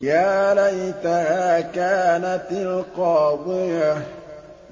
يَا لَيْتَهَا كَانَتِ الْقَاضِيَةَ